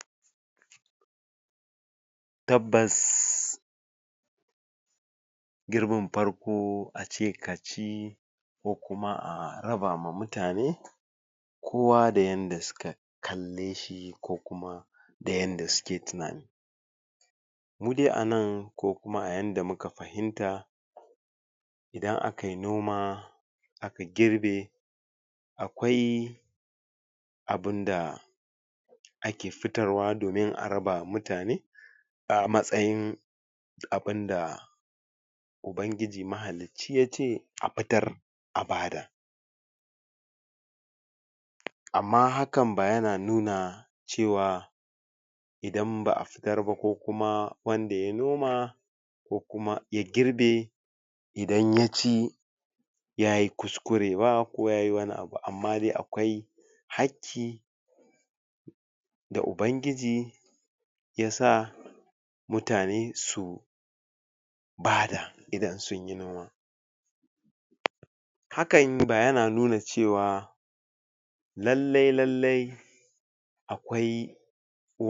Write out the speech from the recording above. Tabbas girbin farko ace ka ci ko kuma a raba ma mutane kowa da yanda suka kalle shi ko kuma da yanda suke tunani mu dai a nan ko kuma a yanda muka fahimta idan aka yi noma aka girbe akwai abunda ake fitarwa domin a raba ma mutane a matsayin abunda ubangiji mahalicci yace a fitar a bada amma hakan ba yana nuna cewa idan ba a fitar ba ko kumawanda ya noma ko kuma ya girbe iadan ya ci yayi kuskure ba ko yayi wani abu amma dai akwai hakki da ubangiji ya sa mutane su bada idan sunyi noma hakan ba yana nuna cewa lallai lallai akwai